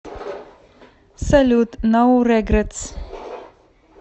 салют ноу регретс